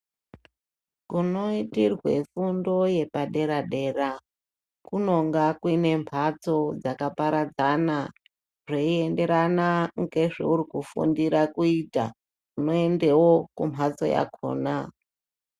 Kunoitirwe fundo yepa dera dera kunonga kune mhatso dzakaparadzana zvinoenderana ngezve uri kufundira kuita. Unoendawo kumhatso yakhona.